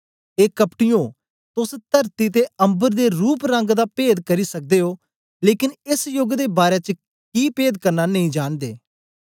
ए कपटीयों तोस तरती ते अम्बर दे रूपरंग दा पेद करी सकदे ओ लेकन एस योग दे बारै च कि पेद करना नेई जांनदे